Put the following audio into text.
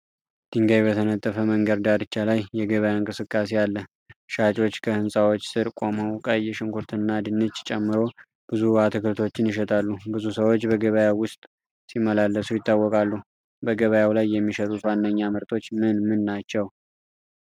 ድንጋይ በተነጠፈ መንገድ ዳርቻ ላይ የገበያ እንቅስቃሴ አለ። ሻጮች ከህንጻዎች ስር ቆመው ቀይ ሽንኩርትና ድንች ጨምሮ ብዙ አትክልቶችን ይሸጣሉ። ብዙ ሰዎች በገበያው ውስጥ ሲመላለሱ ይታወቃሉ። በገበያው ላይ የሚሸጡት ዋነኛ ምርቶች ምን ምን ናቸው?